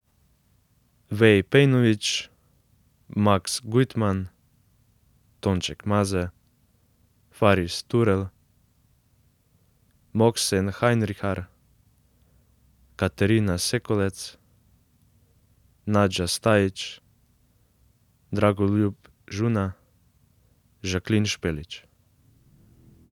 Wei Pejnović, Max Gujtman, Tonček Maze, Faris Turel, Mohsen Hajnrihar, Kateryna Sekolec, Nađa Stajič, Dragoljub Žuna, Jacqueline Špelić.